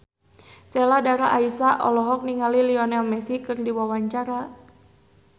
Sheila Dara Aisha olohok ningali Lionel Messi keur diwawancara